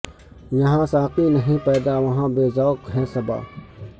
یہاں ساقی نہیں پیدا وہاں بے ذوق ہے صبا